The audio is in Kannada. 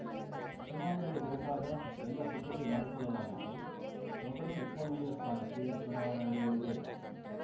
ಚುನಾವಣೆಗೆ ಬೇಕಾದ ಎಲ್ಲ ಸಿದ್ಧತೆ ಮಾಡಿಕೊಳ್ಳಲಾಗಿದ್ದು ಮೊದಲು ಉಪಮೇಯರ್ ಸ್ಥಾನಕ್ಕೆ ಚುನಾವಣೆ ನಡೆಯಲಿದೆ